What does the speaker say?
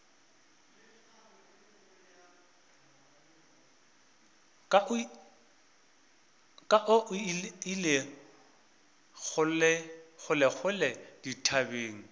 ka o ile kgolekgole dithabeng